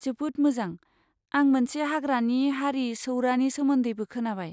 जोबोद मोजां! आं मोनसे हाग्रानि हारि सौरानि सोमोन्दैबो खोनाबाय।